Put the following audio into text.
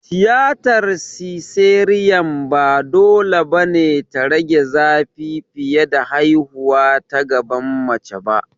Tiyatar siseriyan ba dole ba ne ta rage zafi fiye da haihuwa ta gaban mace ba.